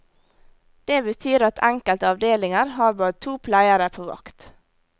Det betyr at enkelte avdelinger har bare to pleiere på vakt.